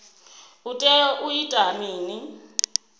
u tea u ita mini